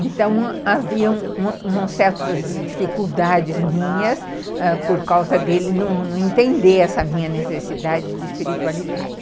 Então, havia certas dificuldades minhas ãh por causa dele não entender essa minha necessidade de espiritualidade.